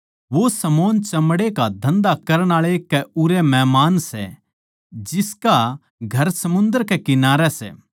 वो शमौन चमड़े का धन्धा करण आळे कै उरै मेहमान सै जिसका घर समुन्दर कै किनारै सै